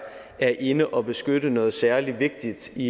er inde og beskytte noget særlig vigtigt i